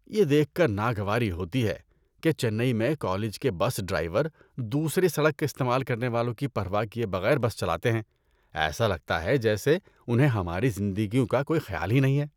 یہ دیکھ کر ناگواری ہوتی ہے کہ چنئی میں کالج کے بس ڈرائیور دوسرے سڑک استعمال کرنے والوں کی پرواہ کیے بغیر بس چلاتے ہیں۔ ایسا لگتا ہے جیسے انہیں ہماری زندگیوں کا کوئی خیال ہی نہیں ہے۔